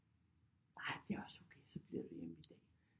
Nej det er også okay så bliver vi hjemme i dag